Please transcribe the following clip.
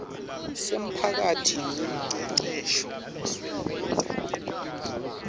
semphakeli welucecesho sekwenta